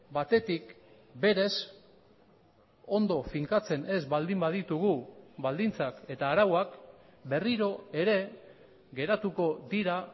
batetik berez ondo finkatzen ez baldin baditugu baldintzak eta arauak berriro ere geratuko dira